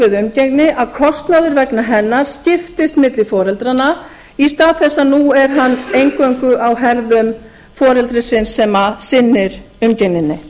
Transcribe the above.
umgengni að kostnaður vegna hennar skiptist milli foreldranna í stað þess að nú er hann eingöngu á herðum foreldrisins sem sinnir umgengninni